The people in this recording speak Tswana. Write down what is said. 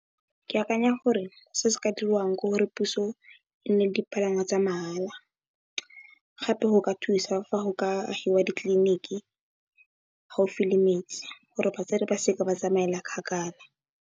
Ke akanya gore se se ka diriwang ke gore puso e nne le dipalangwa tsa mahala gape go ka thusa fa go ka agiwa ditliliniki gaofi le metsi gore batsadi ba se ka ba tsamaela kgakala.